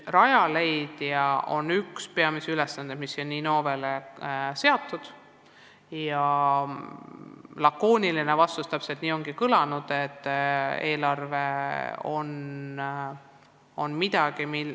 Rajaleidja on olnud üks peamisi Innove ülesandeid.